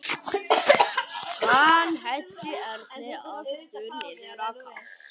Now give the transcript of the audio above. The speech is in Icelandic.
Hann henti Erni aftur niður á kassann.